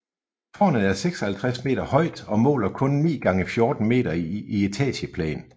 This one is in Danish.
Tårnet er 56 meter højt og måler kun 9x14 meter i etageplan